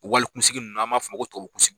Wali kunsigi nunnu n'an b'a f'o ma ko tubabu kunsigi.